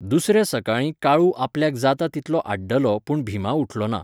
दुसऱ्या सकाळीं काळू आपल्याक जाता तितलो आड्डलो पूण भिमा उठलो ना.